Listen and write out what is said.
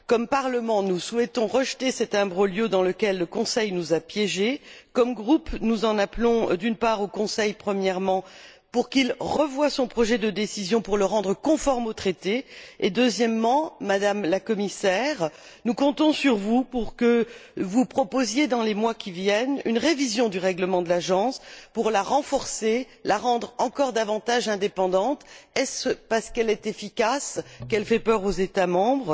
tant que Parlement, nous souhaitons rejeter cet imbroglio dans lequel le Conseil nous a piégés. En tant que groupe, nous en appelons, premièrement, au Conseil pour qu'il revoie son projet de décision pour le rendre conforme aux traités et, deuxièmement, Madame la Commissaire, nous comptons sur vous pour que vous proposiez, dans les mois à venir, une révision du règlement de l'Agence pour la renforcer, la rendre encore davantage indépendante est ce parce qu'elle est efficace qu'elle fait peur aux États membres?